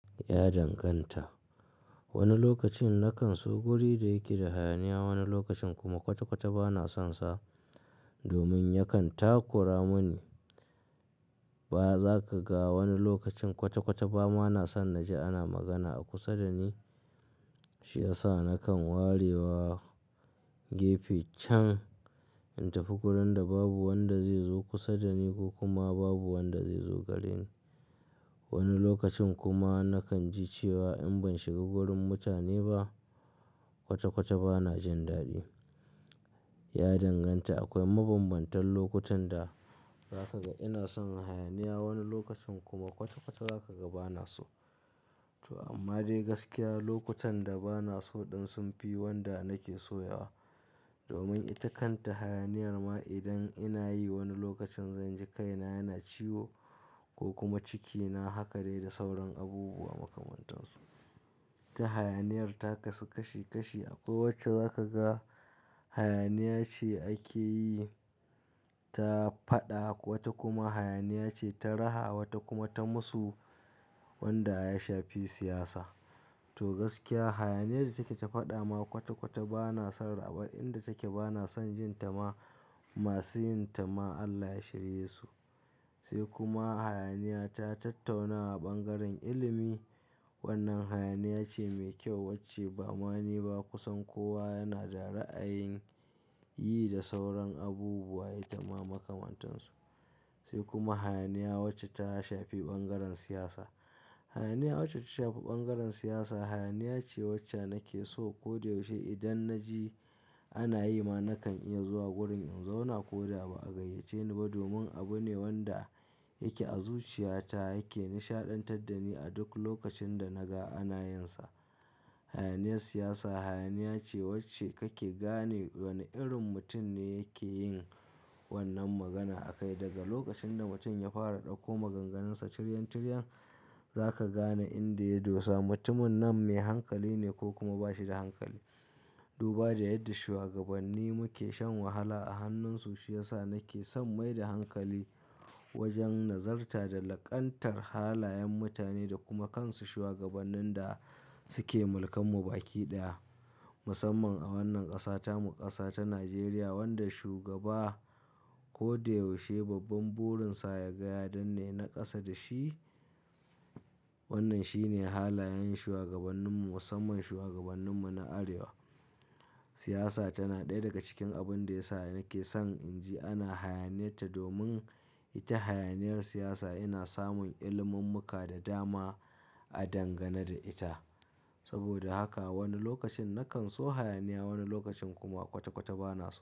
Ya danganta. Wani lokacin na kan so guri da yake da hayaniya, wani lokacin kuma kwata-kwata ba na son sa domin yakan takura mani. Ba za ka ga wani lokacin kwata-kwata ba ma na son na ji ana magana a kusa da ni, shi ya sa na kan ware wa gefe can in tafi gurin da babu wanda zai zo kusa da ni ko kuma babu wanda zai zo gareni. Wani lokacin kuma na kan ji cewa in ban shiga gurin mutane ba kwata-kwata ba na jin daɗi. Ya danganta. Akwai mabanbantan lokutan da za ka ga ina son hayaniya, wani lokacin kuma kwata-kwata za ka ga ba na so. To amma dai gaskiya lokutan da ba na so ɗin sun fi wanda na ke so yawa domin ita kanta hayaniyar ma idan ina yi wani lokacin zan ji kaina yana ciwo ko kuma cikina haka dai da sauran abubuwa makamantan su. Ta hayaniyar ta kasu kashi kashi akwai wacce za ka ga hayaniya ce ake yi ta faɗa, wata kuma hayaniya ce ta raha, wata kuma ta musu wanda ya shafi siyasa. To gaskiya hayaniyar da take ta faɗa ma kwata-kwata ba na son raba inda take, ba na son jin ta ma. Masu yin ta ma Allah ya shirye su. Sai kuma hayaniya ta tattaunawa a bangaren ilimi. Wannan hayaniya ce mai kyau wacce ba ma ni ba kusan kowa yana da ra'ayin yi da sauran abubuwa ita ma makamantan su. Sai kuma hayaniya wacce ta shafi bangaren siyasa. Hayaniya wacce ta shafi bangaren siyasa hayaniya ce wacce na ke so. Koda yaushe idan na ji ana yi ma na kan iya zuwa wurin in zauna ko da ba a gayyace ni ba domin abu ne wanda yake a zuciya ta yake nishaɗantar da ni a duk lokacin da na ga ana yin sa. Hayaniyar siyasa hayaniya ce wacce kake gane wane irin mutum ne yake yin wannan magana a kai. Daga lokacin da mutum ya fara ɗauko maganganunsa tiryan-tiryan za ka gane inda ya dosa. Mutumin nan mai hankali ne ko kuma ba shi da hankali. Duba da yadda shuwagabanni muke shan wahala a hannunsu shi ya sa na ke son mai da hankali wajen nazarta da laƙantar halayen mutane da kuma kansu shuwagabannin da suke mulkan mu baki ɗaya. Musamman a wannan ƙasa ta mu, ƙasa ta Najeriya wanda shugaba ko da yaushe babban burin sa yaga ya danne na ƙasa da shi. Wannan shine halayen shuwagabannin mu musamman shuwagabannin mu na arewa. Siyasa tana ɗaya daga cikin abun da ya sa na ke son in ji ana hayaniyar ta domin ita hayaniyar siyasa ina samun ilimummuka da dama a dangana da ita. Saboda haka wani lokacin na kan so hayaniya, wani lokacin kuma kwata-kwata ba na so.